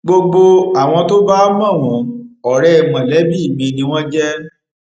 gbogbo àwọn tó bá mọ wọn ọrẹ mọlẹbí mi ni wọn jẹ